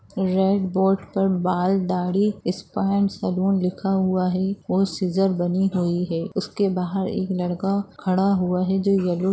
Red board पर बाल दाढ़ी स्पा एंड सलून लिखा हुआ है और सिज़र बनी हुई है। उसके बाहर एक लड़का खड़ा हुआ है जो येलो --